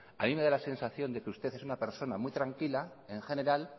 a mí me da la sensación que usted es una persona muy tranquila en general